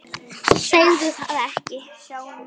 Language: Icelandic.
Segðu það ekki